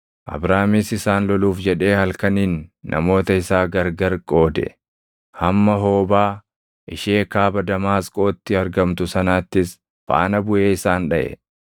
Abraamis isaan loluuf jedhee halkaniin namoota isaa gargari qoode; hamma Hoobaa ishee kaaba Damaasqootti argamtu sanaattis faana buʼee isaan dhaʼe.